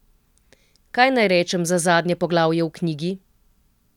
Kaj naj rečem za zadnje poglavje v knjigi?